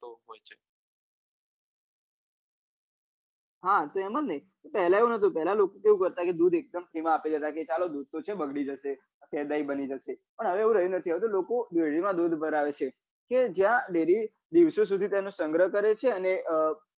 હા તેમ જ ને તો પેલા એવું નતું પેલા લોકો કેવું કરતા કે એક દમ free માં આપી દેતા કે ચાલો દૂધ તો છે બગડી જશે કે દહીં બની પણ હવે એવું રહ્યું નથી હવે તો લોકો dairy માં દૂધ ભરાવે છે કે જ્યાં dairy દિવસો સુધી તેનો સંગ્રહ કરે છે ને